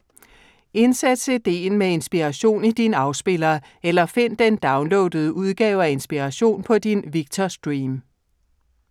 Indsæt CD'en med Inspiration i din afspiller, eller find den downloadede udgave af Inspiration på din Victor Stream.